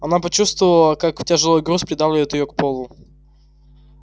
она почувствовала как тяжёлый груз придавливает её к полу